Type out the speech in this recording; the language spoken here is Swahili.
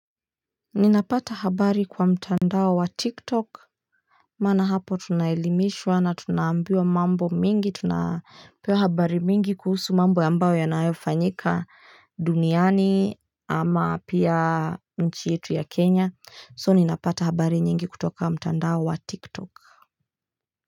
Ninapata habari kwa mtandao wa TikTok, maana hapo tunaelimishwa na tunaambiwa mambo mingi, tunapewa habari mingi kuhusu mambo ambao yanayofanyika duniani ama pia nchi yetu ya Kenya, so ninapata habari nyingi kutoka mtandao wa TikTok.